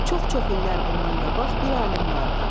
Çox-çox illər bundan qabaq bir alim vardı.